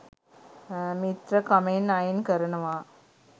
මිත්‍රකමෙන් අයින් කරනවා